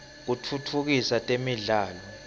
kitfutfukisa temidlalo